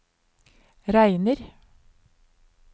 regner